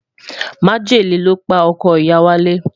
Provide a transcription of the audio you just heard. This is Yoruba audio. Majẹmu lopa ọkọ iya walẹ